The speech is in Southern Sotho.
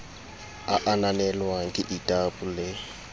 a ananelwang ke ldab le